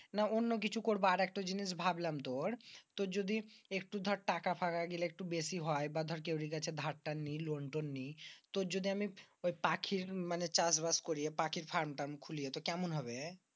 না অন্য কিছু করব আর একটা জিনিস ভাবলাম তুর তুর যদি একটু দর টাকা পাকা গেলে বেশি হয় বা দর কেউরে কাছে দার পেলে ওটা নি। লোন টোন নি তুর যদি আমি পাখির ঐ চাষবাস করি। পাখির ফার্ম ট্রার্ম খুলি কেমন হবে?